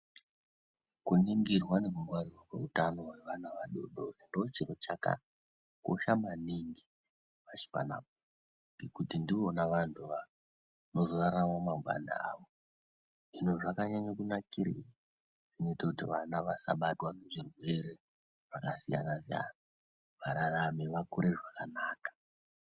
Kuningirwa nekurwarirwa kweutano rwevana vadodori ndochiro chakakosha maningi pashi panapa ngekuti ndivona vantu vanozorarama mangwana avo. Hino zvakanyanya kunakire kuitira kuti vana vasabatwa nezvirwere zvakasiyana siyana vararame vakure zvakanaka.